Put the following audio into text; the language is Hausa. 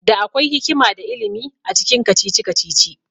Da akwai hikima da ilimi acikin kacici-kacici